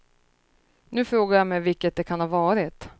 Nu frågar jag mig vilket det kan ha varit.